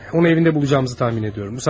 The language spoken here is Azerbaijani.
Onu evində tapacağımızı təxmin edirəm.